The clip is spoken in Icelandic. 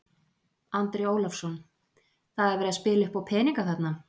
Andri Ólafsson: Það er verið að spila uppá peninga þarna?